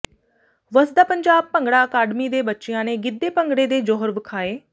ਵਸਦਾ ਪੰਜਾਬ ਭੰਗੜਾ ਅਕਾਡਮੀ ਦੇ ਬੱਚਿਆ ਨੇ ਗਿੱਧੇ ਭੰਗੜੇ ਦੇ ਜੌਹਰ ਵਿਖਾਏੰ